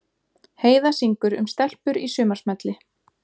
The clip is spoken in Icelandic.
Heiða syngur um stelpur í sumarsmelli